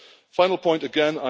Final point again.